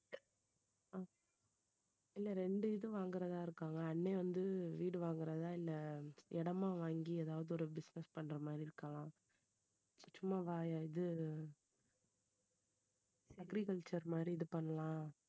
இல்ல ரெண்டு இது வாங்குறதா இருக்காங்க அண்ணன் வந்து வீடு வாங்குறதா இல்ல இடமா வாங்கி எதாவது ஒரு business பண்ற மாதிரி இருக்கலாம் சும்மா வய~ இது agriculture மாதிரி இது பண்ணலாம்.